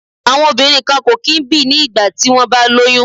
Àwọn obìnrin kan kò kí ń bì ní ìgbà tí wón bá lóyún.